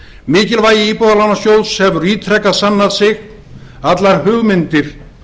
mikilvægi íbúðalánasjóðs hefur ítrekað sannað sig og aldrei sem nú allar hugmyndir